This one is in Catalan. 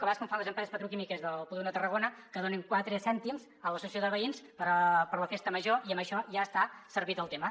a vegades com fan les empreses petroquímiques del polígon de tarragona que donen quatre cèntims a l’associació de veïns per a la festa major i amb això ja està servit el tema